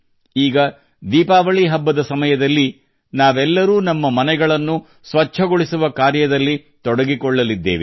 ಈಗ ದೀಪಾವಳಿ ಹಬ್ಬದ ಸಮಯದಲ್ಲಿ ನಾವೆಲ್ಲರೂ ನಮ್ಮ ಮನೆಯನ್ನು ಸ್ವಚ್ಛಗೊಳಿಸುವ ಕಾರ್ಯದಲ್ಲಿ ತೊಡಗಿಕೊಳ್ಳಲಿದ್ದೇವೆ